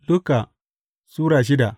Luka Sura shida